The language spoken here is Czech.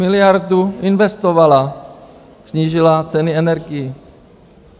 Miliardu investovala, snížila ceny energií.